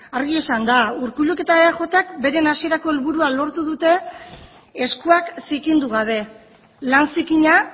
argi esanda urkulluk eta eajk beren hasierako helburua lortu dute eskuak zikindu gabe lan zikina